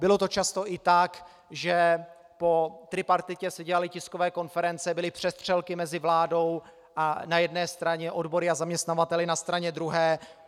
Bylo to často i tak, že po tripartitě se dělaly tiskové konference, byly přestřelky mezi vládou na jedné straně a odbory a zaměstnavateli na straně druhé.